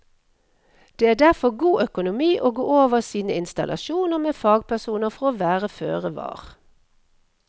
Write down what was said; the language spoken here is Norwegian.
Det er derfor god økonomi å gå over sine installasjoner med fagpersoner for å være føre var.